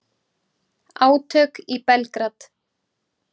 Átök í Belgrad